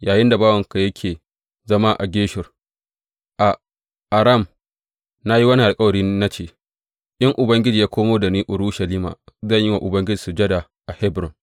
Yayinda bawanka yake zama a Geshur, a Aram, na yi wannan alkawari, na ce, In Ubangiji ya komo da ni Urushalima, zan yi wa Ubangiji sujada a Hebron.’